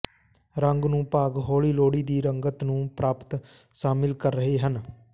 ਰੰਗ ਨੂੰ ਭਾਗ ਹੌਲੀ ਲੋੜੀਦੀ ਰੰਗਤ ਨੂੰ ਪ੍ਰਾਪਤ ਸ਼ਾਮਿਲ ਕਰ ਰਹੇ ਹਨ